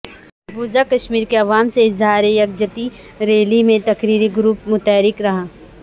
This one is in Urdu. مقبوضہ کشمیر کے عوام سےاظہار یکجہتی ریلی میں تقریر ی گروپ متحرک رہا